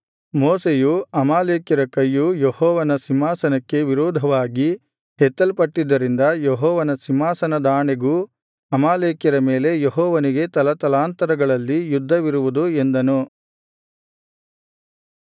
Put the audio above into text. ಮೋಶೆಯು ಅಮಾಲೇಕ್ಯರ ಕೈಯು ಯೆಹೋವನ ಸಿಂಹಾಸನಕ್ಕೆ ವಿರೋಧವಾಗಿ ಎತ್ತಲ್ಪಟ್ಟಿದ್ದರಿಂದ ಯೆಹೋವನ ಸಿಂಹಾಸನದಾಣೆಗೂ ಅಮಾಲೇಕ್ಯರ ಮೇಲೆ ಯೆಹೋವನಿಗೆ ತಲತಲಾಂತರಗಳಲ್ಲಿ ಯುದ್ಧವಿರುವುದು ಎಂದನು